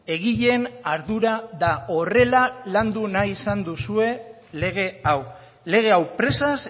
egileen ardura da horrela landu nahi izan duzue lege hau lege hau presaz